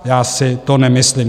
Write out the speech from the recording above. Já si to nemyslím.